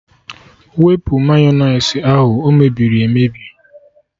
Wụpụ Mayọnais ahụ! O mebiri emebi